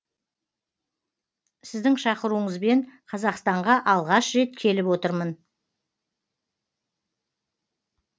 сіздің шақыруыңызбен қазақстанға алғаш рет келіп отырмын